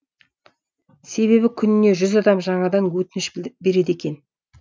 себебі күніне жүз адам жаңадан өтініш береді екен